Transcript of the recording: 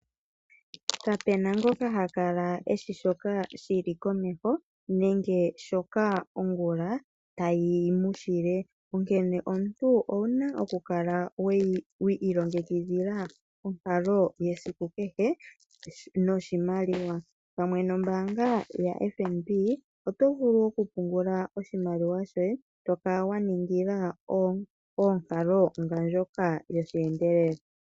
Kapu na ngoka ha kala eshi shoka shili komeho nenge nkene ongula tayi mu shile. Onkene omuntu owuna oku kala wa ilongekidhila onkalo yesiku kehe. Pamwe nombaanga yoFNB oto vulu okupungula oshimaliwa shoye to tala konkalo ndjoka yosheendelela.